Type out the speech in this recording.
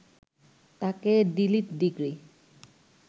তাঁকে D Litt degree